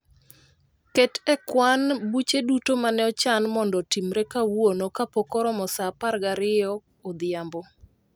Ket e kwan buche duto mane ochan mondo otimre kawuono kapok oromo saa apar gariyo odhiambo